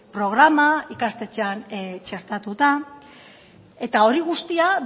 programa ikastetxean txertatuta eta hori guztia